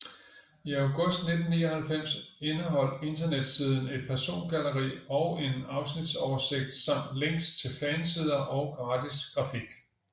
I august 1999 indeholdt internetsiden et persongalleri og en afsnitsoversigt samt links til fansider og gratis grafik